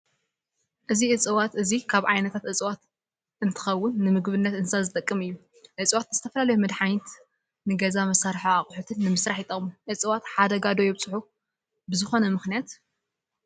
እዚ እፅዋት እዚ ካብ ዓይነታት እፅዋት እዝትከውን ንምግብነት እንስሳት ዝጠቅም እዩ። እፅዋት ንዝተፈላለዩ መድሓኒት፣ ንገዛ መሳሪሒ ኣቁሑት ንምስራሕ ይጠቅሙ። እፅዋት ሓደጋ ዶ የብፅሑ ብዝኮነ ምክንያት ?